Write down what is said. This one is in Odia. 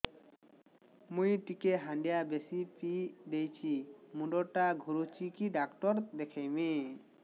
ମୁଇ ଟିକେ ହାଣ୍ଡିଆ ବେଶି ପିଇ ଦେଇଛି ମୁଣ୍ଡ ଟା ଘୁରୁଚି କି ଡାକ୍ତର ଦେଖେଇମି